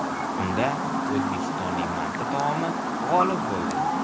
Unda O‘zbekistonning manti taomi g‘olib bo‘ldi.